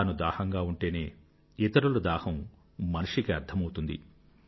తాను దాహంగా ఉంటేనే ఇతరుల దాహం మనిషికి అర్థం అవుతుంది